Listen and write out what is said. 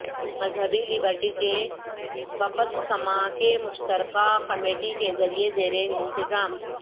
مذہبی لبرٹی کے بپتسمہ کے مشترکہ کمیٹی کے ذریعہ زیر انتظام